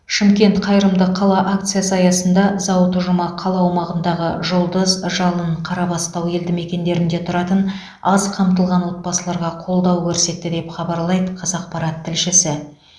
шымкент қайырымды қала акициясы аясында зауыт ұжымы қала аумағындағы жұлдыз жалын қарабастау елдімекендерінде тұратын аз қамтылған отбасыларға қолдау көрсетті деп хабарлайды қазақпарат тілшісі